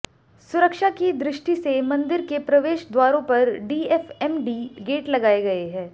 सुरक्षा की दृष्टि से मन्दिर के प्रवेश द्वारों पर डीएफएमडी गेट लगाए गये हैं